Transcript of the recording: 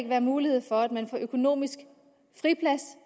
være mulighed for at man kan få økonomisk friplads